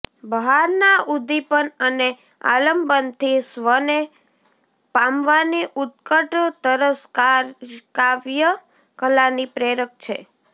બહારના ઉદ્દીપન અને આલંબનથી સ્વને પામવાની ઉત્કટ તરસ કાવ્યકલાની પ્રેરક છે